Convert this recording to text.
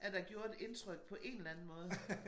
At der gjorde et indtryk på en eller anden måde